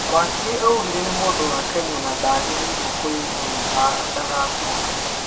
Wakiri augĩte nĩ mũndu wa Kenya na ndagĩrĩrĩrio kũimwa rutha ndagacoke